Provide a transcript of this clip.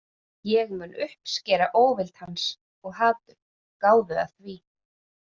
Ég mun uppskera óvild hans- og hatur, gáðu að því.